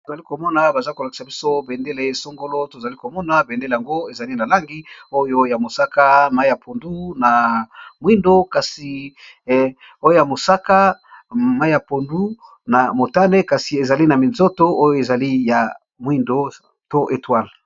Tozali komona baza kolakisa biso bendele songolo, tozali komona bendele yango ezali na langi oyo ya mosaka mai ya pondu na mwindo kasi, oyoya mosaka mai ya pondu na motane kasi ezali na minzoto oyo ezali ya mwindo to etwale.